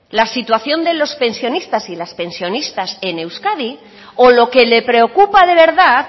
la situación de los pensionistas y las pensionistas en euskadi o lo que le preocupa de verdad